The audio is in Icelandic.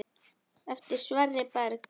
Eftir Sverri Berg.